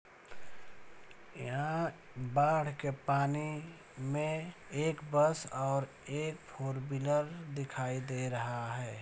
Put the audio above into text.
यहाँ बाढ़ के पानी में एक बस और एक फोर व्हीलर दिखाई दे रहा है।